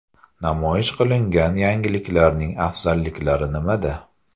Namoyish qilingan yangiliklarning afzalliklari nimada?